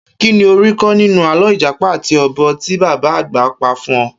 Kíni o rí kó̩ nínú àló̩ ìjàpá àti o̩bò̩ tí bàbá àgbà pa fún wa?